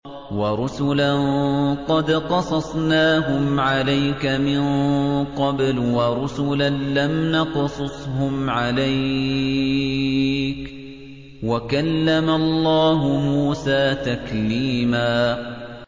وَرُسُلًا قَدْ قَصَصْنَاهُمْ عَلَيْكَ مِن قَبْلُ وَرُسُلًا لَّمْ نَقْصُصْهُمْ عَلَيْكَ ۚ وَكَلَّمَ اللَّهُ مُوسَىٰ تَكْلِيمًا